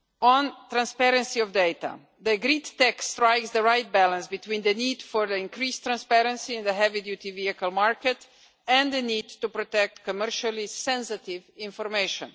On transparency of data the agreed text strikes the right balance between the need for increased transparency in the heavy duty vehicle market and the need to protect commercially sensitive information.